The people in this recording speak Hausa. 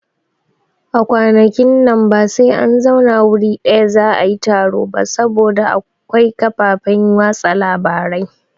A kwanakin nan ba sai an zauna wuri ɗaya za'a yi taro ba saboda akwai kafafen watsa labarai